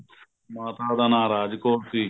ਮਾਤਾ ਦਾ ਨਾ ਰਾਜ ਕੋਰ ਸੀ